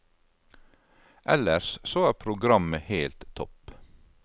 Ellers så er programmet helt topp.